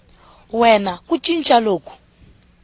we na ku cinca loku